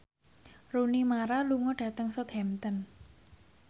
Rooney Mara lunga dhateng Southampton